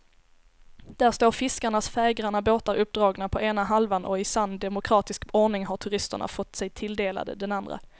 Där står fiskarnas färggranna båtar uppdragna på ena halvan och i sann demokratisk ordning har turisterna fått sig tilldelade den andra.